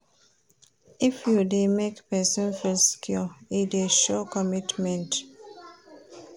If you dey make pesin feel secure, e dey show commitment.